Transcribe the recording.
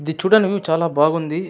ఇది చూడటానికి చాలా బాగుంది --